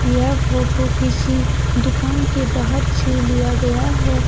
यह फोटो किसी दुकान के बाहर से लिया गया है।